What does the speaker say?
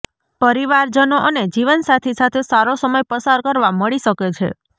પરિવારજનો અને જીવનસાથી સાથે સારો સમય પસાર કરવા મળી શકે છે